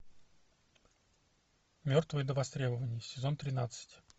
мертвые до востребования сезон тринадцать